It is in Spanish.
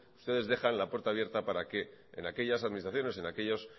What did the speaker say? ustedes dejan la puerta abierta para que en aquellas administraciones o en aquellos sitios